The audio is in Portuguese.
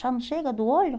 Já não chega do olho?